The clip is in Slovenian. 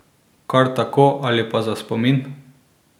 Kar tako ali pa za spomin?